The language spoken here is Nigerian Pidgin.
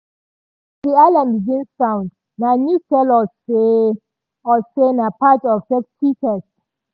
as di alarm begin sound na news tell us say us say na part of safety test.